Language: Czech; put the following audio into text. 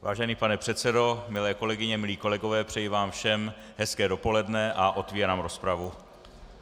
Vážený pane předsedo, milé kolegyně, milí kolegové, přeji vám všem hezké dopoledne a otevírám rozpravu.